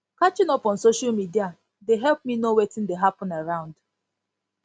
catching up on social media dey help me know wetin dey hapun around